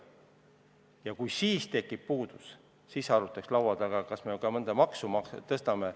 Ja kui ikkagi on raha puudu, siis arutaks laua taga, kas me peame mõnda maksu tõstma.